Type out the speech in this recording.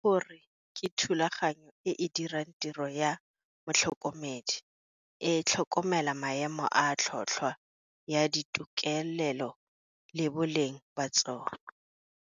Ke go re ke thulaganyo e e dirang tiro ya motlhokomedi, e tlhokomela maemo a tlhotlhwa ya ditokelelo le boleng ba tsona.